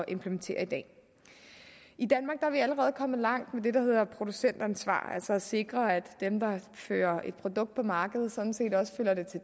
implementere i dag i danmark er vi allerede kommet langt med det der hedder producentansvar altså at sikre at dem der fører et produkt på markedet sådan set også følger det til